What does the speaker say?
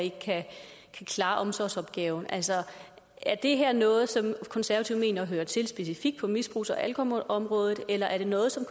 ikke kan klare omsorgsopgaven altså er det her noget som konservative mener hører til specifikt på misbrugs og alkoholområdet eller er det noget som